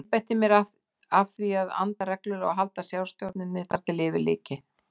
Ég einbeitti mér að því að anda reglulega og halda sjálfsstjórninni þar til yfir lyki.